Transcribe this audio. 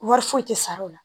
Wari foyi tɛ sara o la